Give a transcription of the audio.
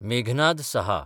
मेघनाद सहा